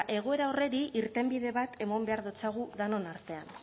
egoera horrei irtenbide bat emon behar datzagu denon artean